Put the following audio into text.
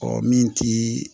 Ɔ min ti